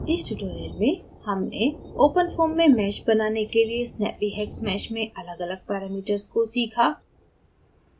इस tutorial में हमने openfoam में mesh बनाने के लिए snappyhexmesh में अलग अलग parameters को सीखा